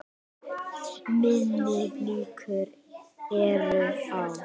Minni líkur eru á